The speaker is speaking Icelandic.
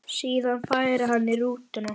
Síðan færi hann í rútuna.